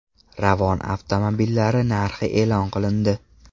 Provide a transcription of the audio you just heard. Ravon avtomobillari narxi e’lon qilindi.